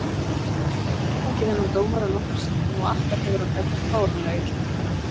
Við höfum fengið þennan dómara nokkrum sinnum og alltaf hefur hann dæmt fáránlega illa.